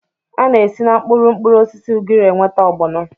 A na-esi na mkpụrụ mkpụrụosisi ugiri enweta ọgbọnọ